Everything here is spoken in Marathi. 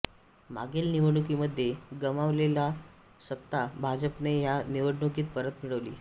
मागील निवडणुकीमध्ये गमावलेली सत्ता भाजपने ह्या निवडणुकीत परत मिळवली